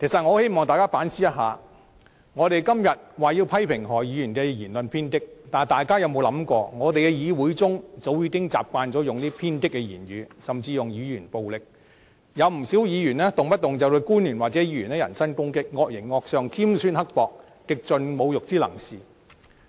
我希望大家反思，我們今天要求批評何議員的言論偏激，但大家有否想過，立法會議會中早已習慣使用偏激的言語，甚至使用言語暴力，有不少議員動輒對官員或議員人身攻擊，惡形惡相，尖酸刻薄，極盡侮辱之能事。